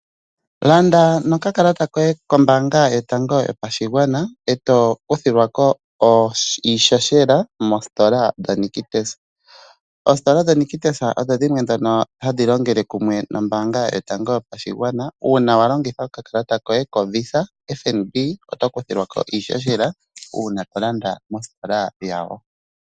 Landa noka kalata koye kombanga yotango yopashigwana eto kuthilwako iihohela mostola dho Nictus. Oostola dho Nictus odho dhimwe dhono hadhi longele kumwe nombanga yotango yopashigwana una walongitha oka kalata koye ko Visa FNB oto kuthilwako iihohela una tolanda moostola dhawo.